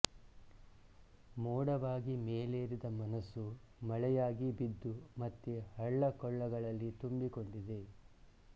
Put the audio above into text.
ಮೋಡವಾಗಿ ಮೇಲೇರಿದ ಮನಸ್ಸು ಮಳೆಯಾಗಿ ಬಿದ್ದು ಮತ್ತೆ ಹಳ್ಳಕೊಳ್ಳಗಳಲ್ಲಿ ತುಂಬಿಕೊಂಡಿದೆ